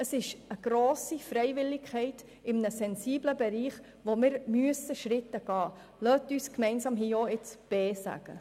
Es besteht eine grosse Freiwilligkeit in einem sensiblen Bereich, in dem wir Schritte gehen müssen.